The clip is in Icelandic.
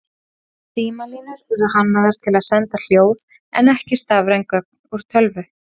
Símalínur eru hannaðar til að senda hljóð en ekki stafræn gögn úr tölvu.